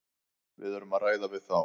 Við erum að ræða við þá.